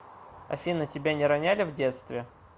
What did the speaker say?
афина тебя не роняли в детстве